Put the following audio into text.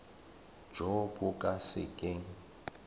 jo bo ka se keng